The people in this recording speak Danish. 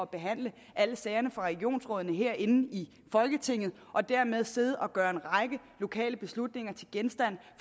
behandle alle sagerne fra regionsrådene herinde i folketinget og dermed sidde og gøre en række lokale beslutninger til genstand